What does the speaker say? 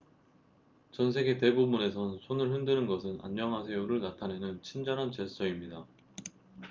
"전 세계 대부분에선 손을 흔드는 것은 "안녕하세요""를 나타내는 친절한 제스처입니다.